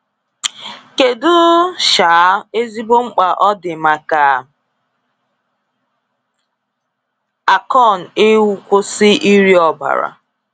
Kedu um ezigbo mkpa ọ dị maka Akon ịkwụsị iri ọbara?